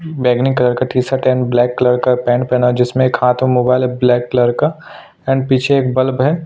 बैगनी कलर का T shirt and black colour का पेंट पहना जिसमे एक हाथ में मोबाइल है ब्लैक कलर का एंड पीछे एक बल्ब है।